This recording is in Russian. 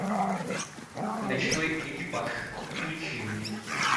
ночной экипаж включи мне